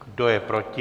Kdo je proti?